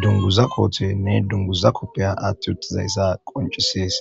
dunguza koothenne dunguza koppeya aatti uttizayssa qoncisees.